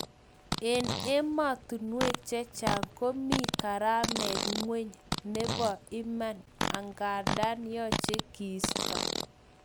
En emotunwek chechang komi karamet ngweny nebo iman angandan yoche kiisto